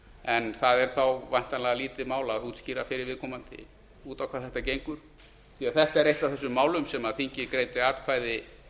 en það er þá væntanlega lítið mál að útskýra fyrir viðkomandi út á hvað þetta gengur því þetta er eitt af þessum málum sem þingið greiddi atkvæði